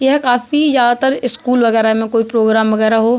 यह काफी ज्यादातर स्कूल वगैरा मे कोई प्रोग्राम वगेरा हो।